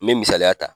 Me misaliya ta